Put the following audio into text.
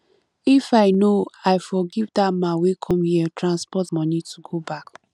if i no i for give dat man wey come here transport money to go back